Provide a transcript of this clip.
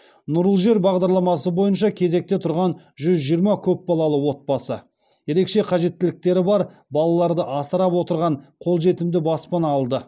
нұрлы жер бағдарламасы бойынша кезекте тұрған жүз жиырма көпбалалы отбасы ерекше қажеттіліктері бар балаларды асырап отырған қолжетімді баспана алды